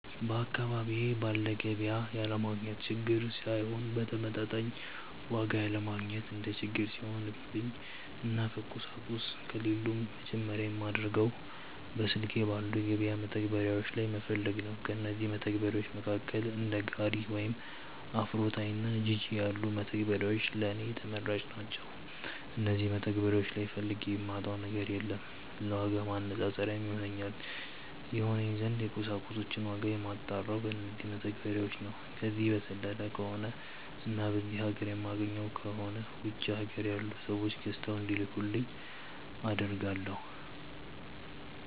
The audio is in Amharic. በአካባቢዬ ባለ ገቢያ ያለማግኘት ችግር ሳይሆን በተመጣጣኝ ዋጋ ያለማግኘት እንደ ችግር ሲሆንብኝ እና ቁሳቁሶቹ ከሌሉም መጀመርያ የማደርገው በስልኬ ባሉ የገበያ መተግበሪያዎች ላይ መፈለግ ነው። ከእነዚህም መተግበርያዎች መካከል እንደ ጋሪ ወይም አፍሮታይ እና ጂጂ ያሉት መተግበሪያዎች ለኔ ተመራጭ ናቸዉ። እነዚህ መተግበሪያዎች ላይ ፈልጌ የማጣው ነገር የለም። ለዋጋ ማነፃፀሪያ ይሆነኝ ዘንድ የቁሳቁሶችን ዋጋ የማጣራው በነዚው መተግበሪያዎች ነው። ከነዚህ በዘለለ ከሆነ እና በዚህ ሀገር የማይገኙ ከሆነ ውጪ ሀገር ያሉ ሰዎች ገዝተው እንዲልኩልኝ አደርጋለው።